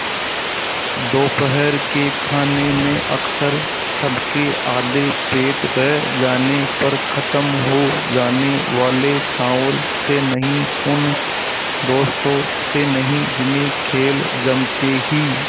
दोपहर के खाने में अक्सर सबके आधे पेट रह जाने पर ख़त्म हो जाने वाले चावल से नहीं उन दोस्तों से नहीं जिन्हें खेल जमते ही